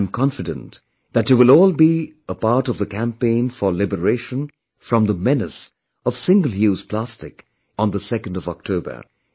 I am confident that you will all be a part of the campaign for liberation from the menace of Single Use Plastic on 2ndOctober